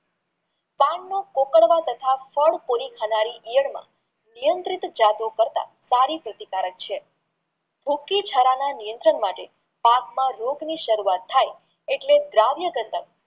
પાનને કોતરવા તથા ફળ પુરી થનારી ઈયળ માં નિયંત્રિત જતો કરતા સારી પ્રતિકારક છે પાકમાં રોગ ની સરુવાત થાય એટલે દ્રવ્ય